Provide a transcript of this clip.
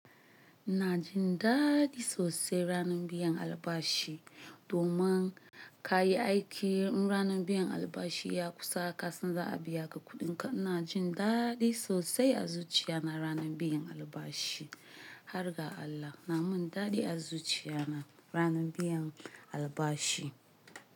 Ina jin daɗi sosai ranar biyan albashi. Domin ka yi aiki, ranar biyan albashi ya kusa ka san za a biya ka kuɗi. In ka na jin daɗi sosai a zuciya na ranar biyan albashi. Har ga Allah, na min daɗi a zuciya na ranar biyan albashi.